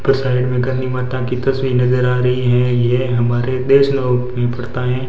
पर साइड में काली माता की तस्वीर नजर आ रही हैं ये हमारे में पड़ता है।